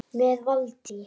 Með Valtý